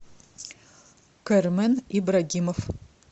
кармен ибрагимов